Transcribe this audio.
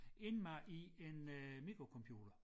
Indmad i en øh mikrocomputer